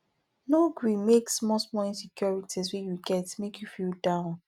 no gree make small small insecurities wey you get make you feel down